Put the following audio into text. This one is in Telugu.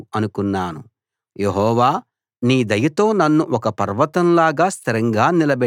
నేను భద్రంగా ఉన్నప్పుడు నన్నెవరూ కదిలించలేరు అనుకున్నాను